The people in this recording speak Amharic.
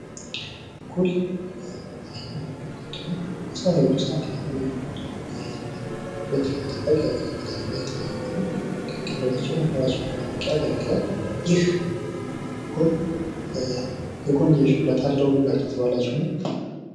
ኩል የአይን ወይም መቀንደቢያ መሳሪያዎች ዉስጥ አንደኛዉ ነዉ። ዉበትን ለመጠበቅ ያገለግላል። የተለያዩ ደግሞ ቅንድባቸዉን መስመራቸዉን እንዲጠብቅ ያገለግላል። ይህ ኩል የጎንዮሽ ጉዳት አለዉ ብላችሁ ታስባላችሁን?